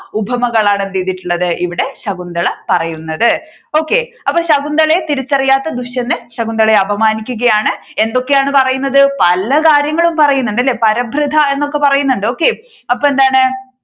ഉപമകളാണ് എന്ത് ചെയ്തിട്ടുള്ളത് ഇവിടെ ശകുന്തള പറയുന്നത് okay അപ്പോൾ ശകുന്തളയെ തിരിച്ചറിയാത്ത ദുഷ്യന്തൻ ശകുന്തളയെ അപമാനിക്കുകയാണ് എന്തൊക്കെയാണ് പറയുന്നത് പല കാര്യങ്ങളും പറയുന്നുണ്ട് അല്ലെ പരഭൃത എന്നൊക്കെ പറയുന്നുണ്ട് okay അപ്പൊ എന്താണ്